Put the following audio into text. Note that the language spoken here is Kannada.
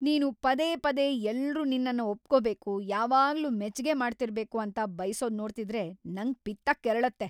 ನೀನು ಪದೇ ಪದೇ ಎಲ್ರೂ ನಿನ್ನನ್ನ ಒಪ್ಕೊಬೇಕು, ಯಾವಾಗ್ಲೂ ಮೆಚ್ಗೆ ಮಾತಾಡ್ತಿರ್ಬೇಕು ಅಂತ ಬಯ್ಸೋದ್‌ ನೋಡ್ತಿದ್ರೆ ನಂಗ್‌ ಪಿತ್ತ ಕೆರಳತ್ತೆ.